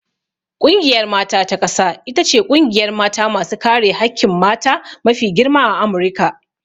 Ƙungiyar mata ta ƙasa ita ce ƙungiyar mata masu kare hakkin mata mafi girma a Amurika.